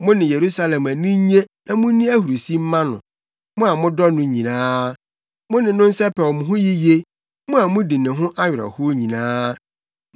Mo ne Yerusalem ani nnye na munni ahurusi mma no, mo a modɔ no nyinaa; mo ne no nsɛpɛw mo ho yiye, mo a mudi ne ho awerɛhow nyinaa.